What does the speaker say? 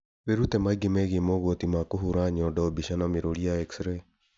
Wĩrute maingĩ megiĩ mogwati ma kũhũra nyondo mbica na mĩrũri ya x-ray